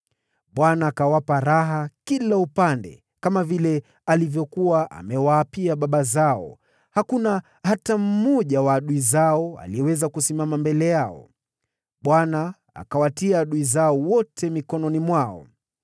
Bwana akawapa pumziko kila upande, kama vile alivyokuwa amewaapia baba zao, hakuna hata mmoja wa adui zao aliyeweza kusimama mbele yao, Bwana akawatia adui zao wote mikononi mwao.